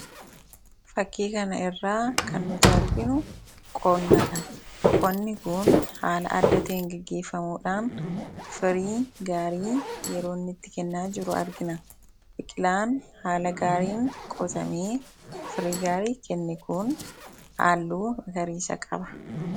fakkii kana irraa kan nuti arginu qoonnaadha qonni kun haala adda teen geggeeffamuudhaan firii gaarii yerooitti kennaa jiru argina biqilaan haala gaariin qotamee firii gaarii kenne kun haalluu magariisa qaba